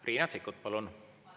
Riina Sikkut, palun!